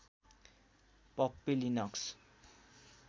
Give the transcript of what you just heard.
Puppy Linux